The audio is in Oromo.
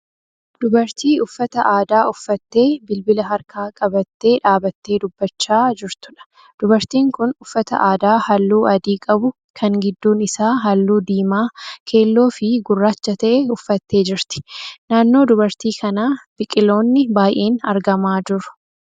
Dubartii uffata aadaa uffattee bilbila harkaa qabattee dhaabbattee dubbachaa jirtuudha. Dubartiin kun uffata aadaa halluu adii qabu kan gidduun isaa halluu diimaa, keelloo fi gurraacha ta'e uffattee jirti. Naannoo dubartii kanaa biqiloonni baay'een argamaa jiru.